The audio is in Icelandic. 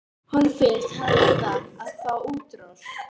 Honum finnst hann verða að fá útrás.